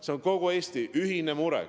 See on kogu Eesti ühine mure.